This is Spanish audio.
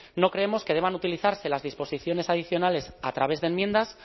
no creemos que deban utilizarse las disposiciones adicionales a través de enmiendas